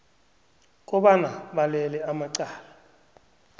kobana balele amacala